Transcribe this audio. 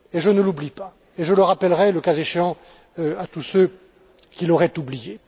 Je ne l'oublie pas et je le rappellerai, le cas échéant, à tous ceux qui l'auraient oublié.